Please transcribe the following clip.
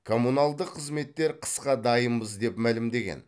коммуналдық қызметтер қысқа дайынбыз деп мәлімдеген